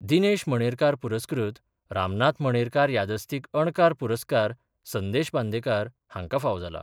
दिनेश मणेरकार पुरस्कृत रामनाथ मणेरकार यादस्तीक अणकार पुरस्कार संदेश बांदेकार हाँका फावो जाला.